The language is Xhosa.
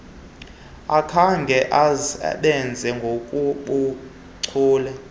akakhange asebenze ngokobuchule